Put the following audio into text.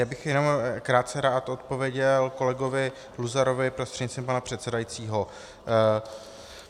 Já bych jenom krátce rád odpověděl kolegovi Luzarovi prostřednictvím pana předsedajícího.